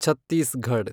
Chhattisgarh